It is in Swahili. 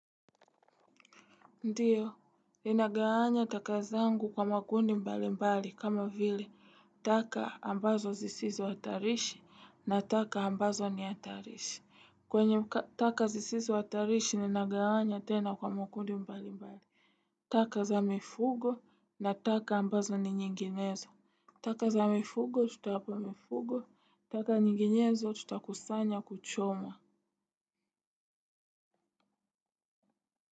Ndiyo, ninaga wanya taka zangu kwa makundi mbali mbali kama vile, taka ambazo zisizo hatarishi na taka ambazo ni hatarishi. Kwenye taka zisizo hatarishi, ninaga wanya tena kwa makundi mbali mbali. Taka za mifugo na taka ambazo ni nyinginezo. Taka za mifuho tutawapa mifugo. Taka nyinginezo, tutakusanya kuchoma.